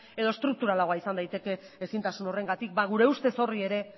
edo estrukturalagoa izan daiteke ezintasun horrengatik gure ustez horri ere